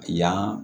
Yan